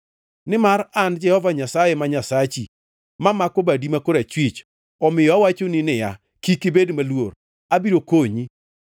Nimar an Jehova Nyasaye ma Nyasachi mamako badi ma korachwich, omiyo awachoni niya, “Kik ibed maluor; abiro konyi.